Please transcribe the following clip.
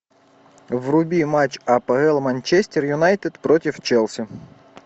вруби матч апл манчестер юнайтед против челси